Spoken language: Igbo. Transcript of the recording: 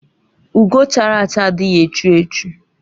Ugo chara acha adịghị echu echu